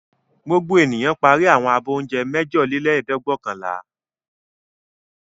Gbogbo ènìyàn parí àwọn abọ́ oúnjẹ mẹ́jọlélẹ́ẹ̀dẹ́gbẹ̀ọ̀kànlá.